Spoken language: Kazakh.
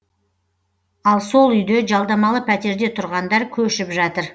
ал сол үйде жалдамалы пәтерде тұрғандар көшіп жатыр